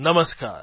નમસ્કાર